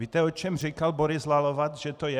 Víte, o čem říkal Boris Lalovac, že to je?